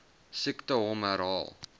siekte hom herhaal